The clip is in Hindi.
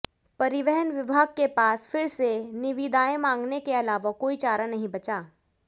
परिवहन विभाग के पास फिर से निविदाएं मंगाने के अलावा कोई चारा नहीं बचा